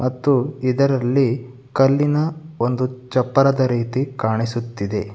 ಮತ್ತು ಇದರಲ್ಲಿ ಕಲ್ಲಿನ ಒಂದು ಚಪ್ಪರದ ರೀತಿ ಕಾಣಿಸುತ್ತಿದೆ.